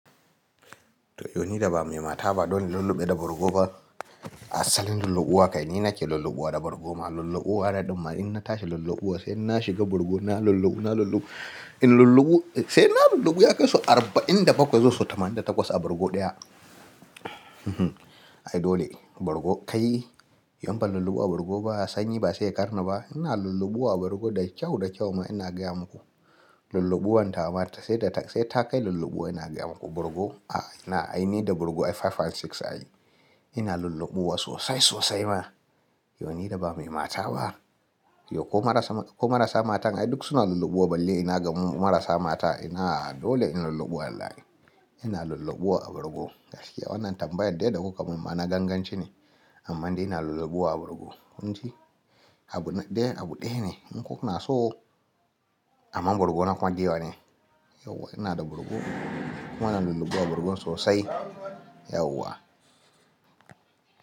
To ni da ba mai mata ba dole lulluɓe da burgo ba. Asalin lulluɓuwa kai ni nake lulluɓuwa da burgo ma lulluɓuwa radin ma in na tashi lulluɓuwa sai in na shiga burgo na lulluɓu na lulluɓu. In lulluɓu sai in na lulluɓu ya kai su arba'in da bakwai zuwa su tamanin da takwas a burgo ɗaya. Ai dole burgo kai yau ban lulluɓuwa burgo ba sanyi ba sai ƙarni ba ina lulluɓuwa burgo da kyau da kyau ma ina gaya muku. Lulluɓuwan ta mata sai da tak sai ta kai lulluɓuwa ina gaya muku burgo a ina ai ni da burgo ai five and six ai. Ina lulluɓuwa sosai sosai ma yau ni da ba mai mata ba. Yau ko marasa ko marasa matan ai duk suna lulluɓuwa balle ina ga mu marasa mata ina dole ina lulluɓuwa wallahi. Ina lulluɓuwa a burgo gaskiya wannan tambayar dai da ku kam ma na gangan ce ne amma dai ina lulluɓuwa a burgo kun ji. Abu na dai abu ɗaya ne in kuka na so amma burgo na kwan ge wa ne. Yau ina da burgo kowa na lulluɓuwa burgon sosai yau wa.